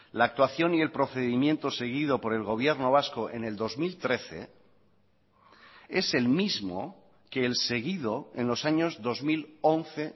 la actuación y el procedimiento seguido por el gobierno vasco en el dos mil trece es el mismo que el seguido en los años dos mil once